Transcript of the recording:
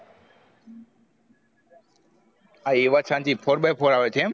હા એ વાત સાચી four by four આવે છે એમ